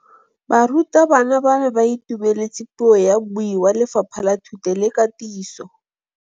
Barutabana ba ne ba itumeletse puô ya mmui wa Lefapha la Thuto le Katiso.